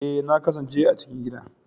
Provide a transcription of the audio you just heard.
Ee, na kasance a cikin gida